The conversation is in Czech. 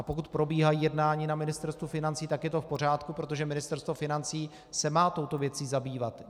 A pokud probíhají jednání na Ministerstvu financí, tak je to v pořádku, protože Ministerstvo financí se má touto věcí zabývat.